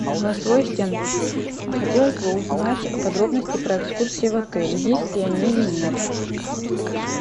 голосовой ассистент хотелось бы узнать подробности про экскурсии в отеле есть ли они или нет